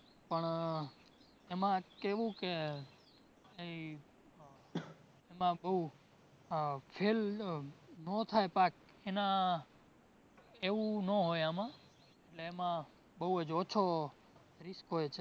પણ એમાં કેવું કે કઈ એમાં બોવ ફેલ ન થાય પાક એના એવું ના હોય આમાં એટલે એમાં બોવ જ ઓછો risk હોય